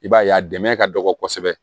I b'a ye a dɛmɛ ka dɔgɔ kosɛbɛ